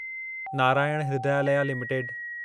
Narayan Hrudayalaya limited